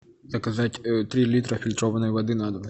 заказать три литра фильтрованной воды на дом